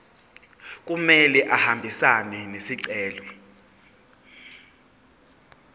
kumele ahambisane nesicelo